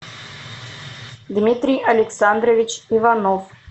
дмитрий александрович иванов